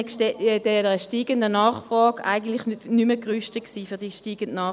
Das alte Gebäude war nicht mehr gerüstet für diese gestiegene Nachfrage.